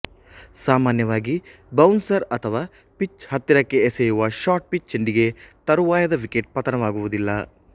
ಸಾಮಾನ್ಯವಾಗಿ ಬೌನ್ಸರ್ ಅಥವಾ ಪಿಚ್ ಹತ್ತಿರಕ್ಕೆ ಎಸೆಯುವಶಾರ್ಟ್ ಪಿಚ್ ಚೆಂಡಿಗೆ ತರುವಾಯದ ವಿಕೆಟ್ ಪತನವಾಗುವುದಿಲ್ಲ